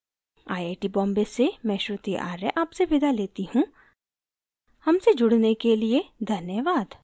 I I T Bombay से मैं श्रुति आर्य आपसे विदा लेती हूँ हमसे जुड़ने के लिए धन्यवाद